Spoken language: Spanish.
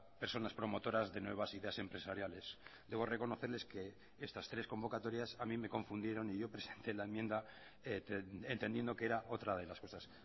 personas promotoras de nuevas ideas empresariales debo reconocerles que estas tres convocatorias a mí me confundieron y yo presenté la enmienda entendiendo que era otra de las cosas